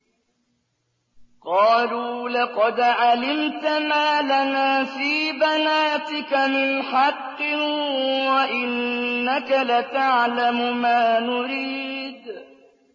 قَالُوا لَقَدْ عَلِمْتَ مَا لَنَا فِي بَنَاتِكَ مِنْ حَقٍّ وَإِنَّكَ لَتَعْلَمُ مَا نُرِيدُ